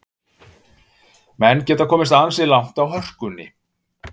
Menn geta komist ansi langt á hörkunni.